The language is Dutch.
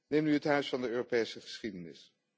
Neem nu het Huis van de Europese geschiedenis.